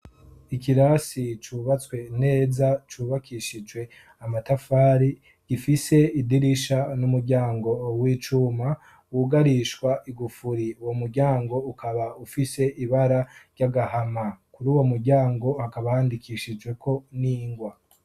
Ikirasi cubatswe neza ,cubakishijwe amatafari ,gifise idirisha n'umuryango w'icuma wugarishwa igufuri, uwo muryango ukaba ufise ibara ry'agahama ,kuruwo muryango hakaba handikishijweko n'ingwa.